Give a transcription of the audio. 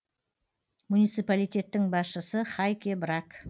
муниципалитеттің басшысы хайке брак